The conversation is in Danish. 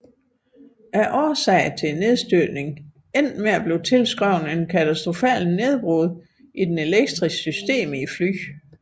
Årsagen til nedstyrtningen endte med at blive tilskrevet et katastrofalt nedbrud i flyets elektriske system